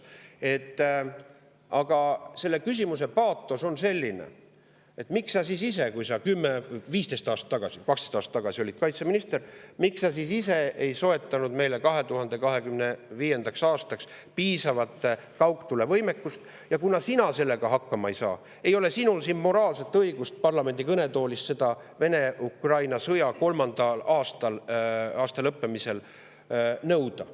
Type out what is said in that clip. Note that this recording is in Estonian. Aga selle küsimuse paatos on selline, et miks sa siis ise, kui sa kümme või viisteist aastat tagasi või kaksteist aastat tagasi olid kaitseminister, ei soetanud meile 2025. aastaks piisavat kaugtulevõimet, ja kuna sa sellega hakkama ei saanud, siis ei ole sul moraalset õigust parlamendi kõnetoolist seda Vene-Ukraina sõja kolmanda aasta lõppemise ajal nõuda.